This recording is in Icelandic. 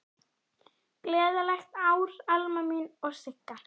Gleðilegt ár, Alma mín og Sigga.